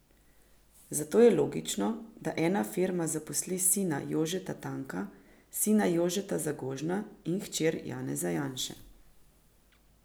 Zato je logično, da ena firma zaposli sina Jožeta Tanka, sina Jožeta Zagožna in hčer Janeza Janše.